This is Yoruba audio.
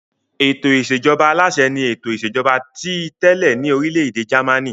Ètò ìṣèjọba aláṣẹ ni ètò ìṣèjọba ti tẹ́lẹ̀ ní orílẹ̀-èdè Jámánì.